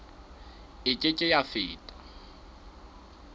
e ke ke ya feta